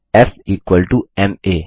फ़ equal to M आ